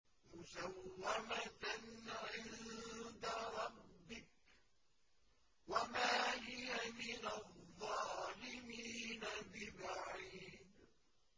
مُّسَوَّمَةً عِندَ رَبِّكَ ۖ وَمَا هِيَ مِنَ الظَّالِمِينَ بِبَعِيدٍ